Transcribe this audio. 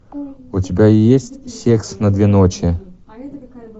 у тебя есть секс на две ночи